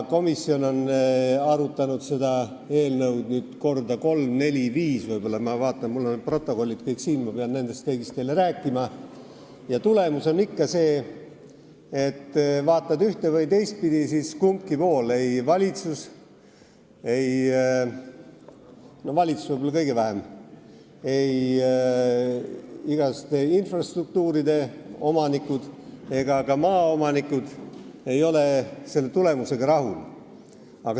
Komisjon on seda arutanud nüüd korda kolm, neli või isegi viis – ma vaatan järele, mul on siin protokollid ja ma pean nendest kõigist teile rääkima –, tulemus on aga ikka selline, et võtad ühte- või teistpidi, ikka ei ole ükski osapool, ei valitsus – nemad võib-olla kõige vähem –, infrastruktuuride omanikud ega ka maaomanikud tulemusega rahul.